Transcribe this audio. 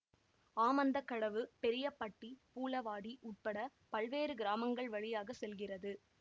ஆமந்தகடவு பெரியபட்டி பூளவாடி உட்பட பல்வேறு கிராமங்கள் வழியாக செல்கிறது